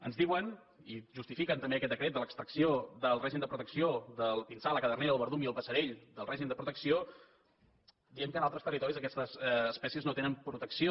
ens diuen i justifiquen també aquest decret de l’extracció del pinsà la cadernera el verdum i el passerell del règim de protecció dient que en altres territoris aquestes espècies no tenen protecció